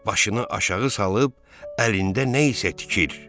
Başını aşağı salıb əlində nə isə tikir.